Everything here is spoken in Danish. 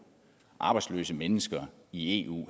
arbejdsløse mennesker i eu